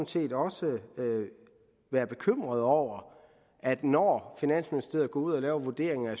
set også være bekymret over at når finansministeriet går ud og laver vurderinger af